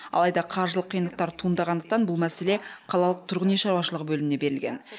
алайда қаржылық қиындықтар туындағандықтан бұл мәселе қалалық тұрғын үй шаруашылығы бөліміне берілген